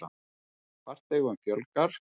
Farþegum fjölgar